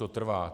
To trvá.